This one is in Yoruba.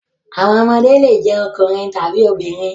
Àwọn ọmọdé le jẹ́ ọkùnrin tàbí obìnrin.